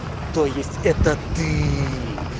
то есть это ты